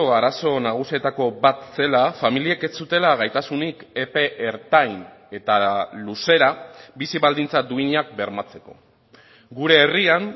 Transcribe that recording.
arazo nagusietako bat zela familiek ez zutela gaitasunik epe ertain eta luzera bizi baldintza duinak bermatzeko gure herrian